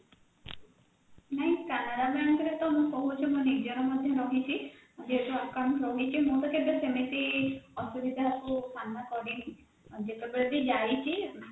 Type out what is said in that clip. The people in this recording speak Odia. ନାଇଁ canara bank ରେ ତ ମୁଁ କହୁଛି ମୋ ନିଜର ମଧ୍ୟ ରହିଛି ଯେହେତୁ account ରହିଛି ମୋର କେବେ ସେମତି ଅସୁବିଧାକୁ ସାମ୍ନା କରିନି ଯେତେବେଳେ ବ ଯାଇଛି